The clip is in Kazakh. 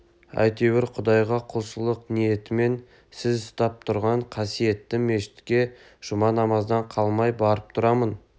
әйтеуір құдайға құлшылық ниетімен сіз ұстап тұрған қасиетті мешітке жұма намаздан қалмай барып тұрамын